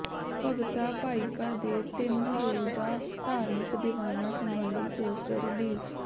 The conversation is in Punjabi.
ਭਗਤਾ ਭਾਈਕਾ ਦੇ ਤਿੰਨ ਰੋਜ਼ਾ ਧਾਰਮਿਕ ਦੀਵਾਨਾ ਸਬੰਧੀ ਪੋਸਟਰ ਰਿਲੀਜ਼